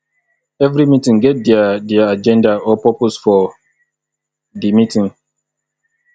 every meeting get their their agenda or purpose for di meeting